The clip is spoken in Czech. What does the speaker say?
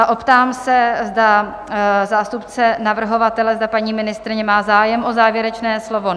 A optám se, zda zástupce navrhovatele, zda paní ministryně má zájem o závěrečné slovo?